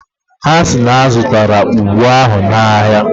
Ha si na ha zụtara ụgụ ahụ n'ahịa.